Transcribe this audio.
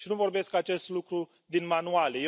Nu vorbesc acest lucru din manuale.